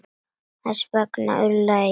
Þess vegna ullaði ég.